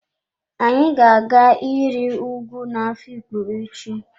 Anyi ga-aga iri ùgwù na afikpo echi.